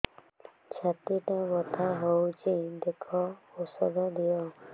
ଛାତି ଟା ବଥା ହଉଚି ଦେଖ ଔଷଧ ଦିଅ